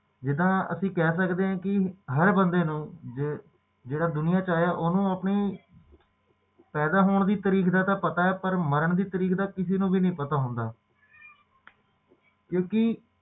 ਜਿਵੇ ਅਸੀਂ ਕਹਿ ਸਕਦੇ ਆ ਕਿ ਹਰ ਬੰਦੇ ਨੂੰ ਜੋ ਕਿ ਦੁਨੀਆਂ ਵਿੱਚ ਆਇਆ ਓਹਨੂੰ ਆਪਣੇ ਪੈਦਾ ਹੋਣ ਦੀ ਤਰੀਕ ਦਾ ਤਾ ਪਤਾ ਪਰ ਮਾਰਨ ਦੀ ਤਾਰੀਕ ਦਾ ਕਿਸੇ ਨੂੰ ਨਹੀਂ ਪਤਾ ਹੁੰਦਾ ਕਿਉਕਿ